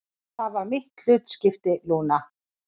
Það var mitt hlutskipti, Lúna.